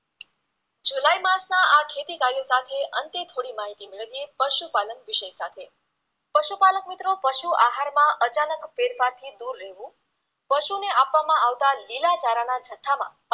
માં આ ખેતીકાર્યો સાથે અંતે થોડી માહિતી મેળવીએ પશુપાલન વિષય સાથે પશુપાલન મિત્રો પશુ આહારમાં અચાનક ફેરફારથી શું લેવુ પશુને આપવામાં આવતા લીલા ચારાના જથ્થામાં